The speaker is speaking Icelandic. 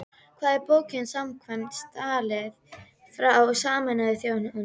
Hvað er bók samkvæmt staðli frá Sameinuðu þjóðunum?